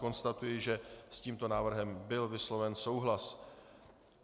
Konstatuji, že s tímto návrhem byl vysloven souhlas.